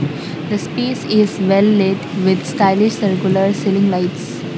this place is well light with stylish circular ceiling lights.